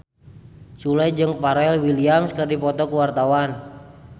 Sule jeung Pharrell Williams keur dipoto ku wartawan